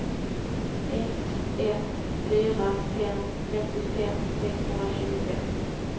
ett ett fyra fem femtiofem sexhundratjugofem